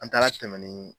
An taara tɛmɛ ni